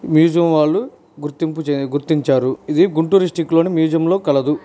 Museum వాళ్ళు గుర్తింపు చేయనికి గుర్తించారు ఇది గుంటూర్ డిస్టిక్ లోని మ్యూజియం లో కలదు.